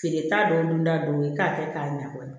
Feere t'a dɔ dun t'a dɔw ye k'a kɛ k'a ɲa kɔni